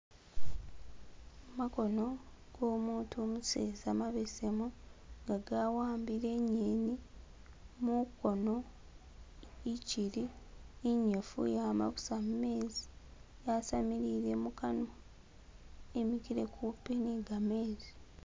Makono go mutu umuseza mabesemu nga gawambile inyeni mukono ichili inyifu yama busa mumezi yasamilile mukanwa imikile kupi ni gamezi.